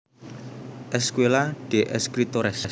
Escuela de Escritores